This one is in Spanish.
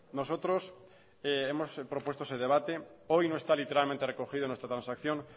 nosotros hemos propuesto ese debate hoy no está literalmente recogido nuestra transacción